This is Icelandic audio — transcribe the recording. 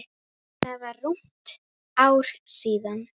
Það var rúmt ár síðan.